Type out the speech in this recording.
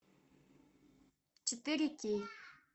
четыре кей